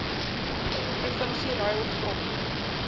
provinsie ruil grond